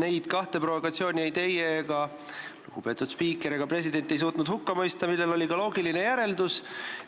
Neid kahte provokatsiooni ei teie, lugupeetud spiiker, ega president ei suutnud hukka mõista, millel oli ka loogiline järelm